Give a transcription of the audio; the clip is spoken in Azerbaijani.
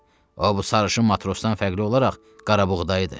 O, bu sarışın matrosdan fərqli olaraq qarabuqdaydı.